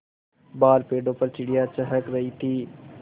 बाहर पेड़ों पर चिड़ियाँ चहक रही थीं